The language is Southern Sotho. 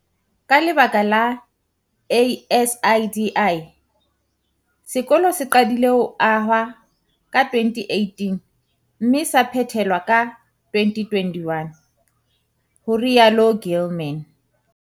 "Ka lebaka la ASIDI, sekolo se qadile ho ahwa ka 2018 mme sa phethelwa ka 2021," ho rialo Gilman.